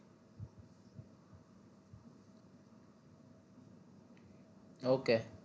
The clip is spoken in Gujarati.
okay